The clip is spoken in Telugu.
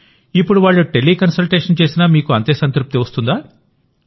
ఇప్పుడు వాళ్ళు టెలి కన్సల్టేషన్ చేసినా మీకు అంతే సంతృప్తి వస్తుందా